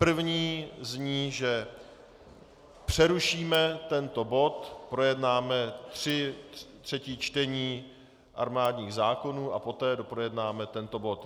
První zní, že přerušíme tento bod, projednáme tři třetí čtení armádních zákonů a poté doprojednáme tento bod.